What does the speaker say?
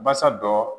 Basa dɔ